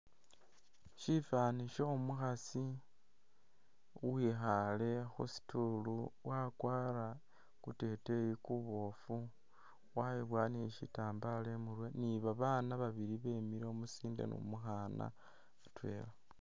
Syifwaani syo'omukhasi uwikhaale khu stool wakwara kuteteyi kuboofu, wayiboya ni syitambala imurwe ni babaana baili bemile umusinde ni umukhaana.